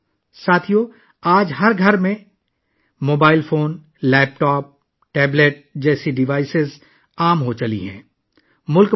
دوستو! آج mobile phone, laptop, tablet جیسے آلات ہر گھر میں عام ہو چکے ہیں